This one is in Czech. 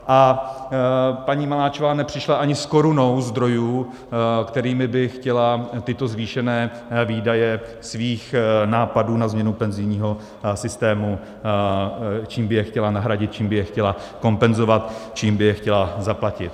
A paní Maláčová nepřišla ani s korunou zdrojů, kterými by chtěla tyto zvýšené výdaje svých nápadů na změnu penzijního systému, čím by je chtěla nahradit, čím by je chtěla kompenzovat, čím by je chtěla zaplatit.